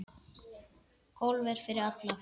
Golf er fyrir alla